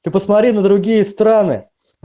ты посмотри на другие страны